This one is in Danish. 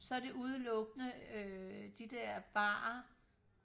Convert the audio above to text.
så er det udelukkende øh de der barer